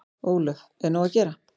Ólöf: Er nóg að gera?